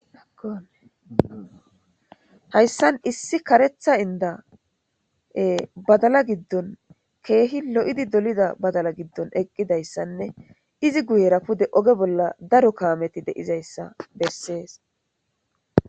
Haysan issi karetha ida badala gidoninne kehi lo'idi dolida badala gidon Eqidaysanne izi guyera pude daro kametti de'izaysa beses.